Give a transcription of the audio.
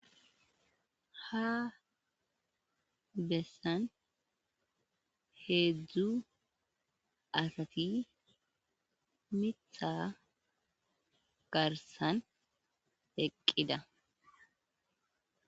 Ha besani heedzu asati miiththa garisan eqidda.